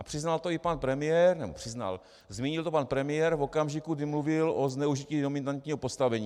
A přiznal to i pan premiér, nebo přiznal, zmínil to pan premiér v okamžiku, kdy mluvil o zneužití dominantního postavení.